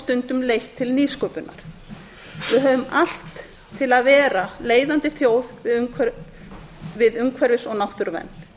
stundum leitt til nýsköpunar við höfum allt til að vera leiðandi þjóð við umhverfis og náttúruvernd